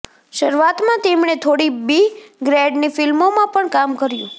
શરૂઆતમાં તેમણે થોડી બી ગ્રેડની ફિલ્મોમાં પણ કામ કર્યુ